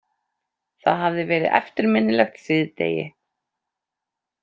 Það hafði verið eftirminnilegt síðdegi.